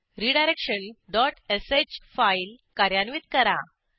redirection dot sh file कार्यान्वित करा